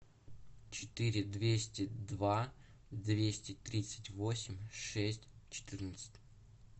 четыре двести два двести тридцать восемь шесть четырнадцать